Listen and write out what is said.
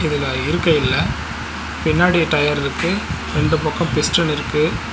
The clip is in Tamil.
இதுல இருக்கெ இல்ல பின்னாடி டயர் இருக்கு ரெண்டு பக்கோ பிஸ்டல் இருக்கு.